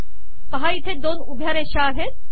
पहा इथे दोन उभ्या रेषा आहेत